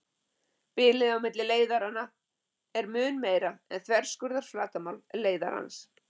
Bilið á milli leiðaranna er mun meira en þverskurðarflatarmál leiðarans.